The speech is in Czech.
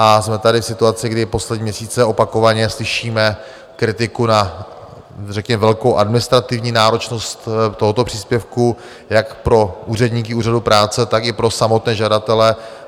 A jsme tady v situaci, kdy poslední měsíce opakovaně slyšíme kritiku na řekněme velkou administrativní náročnost tohoto příspěvku jak pro úředníky úřadu práce, tak i pro samotné žadatele.